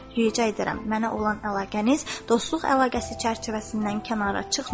Xahiş edirəm, mənə olan əlaqəniz dostluq əlaqəsi çərçivəsindən kənara çıxmasın.